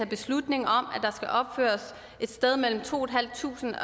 beslutning om at der skal opføres et sted mellem to tusind